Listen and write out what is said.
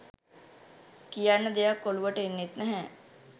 කියන්න දෙයක් ඔලුවට එන්නෙත් නැහැ.